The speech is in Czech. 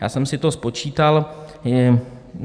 Já jsem si to spočítal.